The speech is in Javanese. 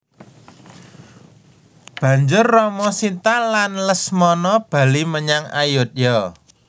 Banjur Rama Sita lan Lesmana bali menyang Ayodya